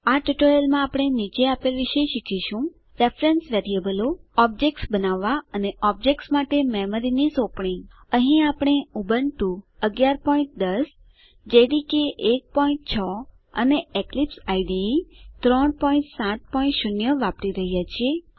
આ ટ્યુટોરીયલમાં આપણે નીચે આપેલ વિશે શીખીશું રેફરન્સ વેરીએબલો ઑબ્જેક્ટ્સ બનાવવા અને ઑબ્જેક્ટ્સ માટે મેમરીની સોંપણી અહીં આપણે ઉબુન્ટુ ૧૧૧૦ જેડીકે ૧૬ અને એક્લીપ્સ આઇડીઇ ૩૭૦ વાપરી રહ્યા છીએ